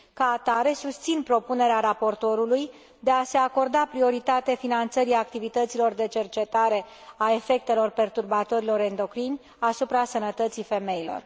Ca atare, susțin propunerea raportorului de a se acorda prioritate finanțării activităților de cercetare a efectelor perturbatorilor endocrini asupra sănătății femeilor.